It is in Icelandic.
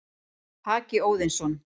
Haki Óðinsson,